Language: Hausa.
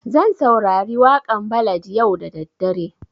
Zan saurari waƙan ballad yau da daddare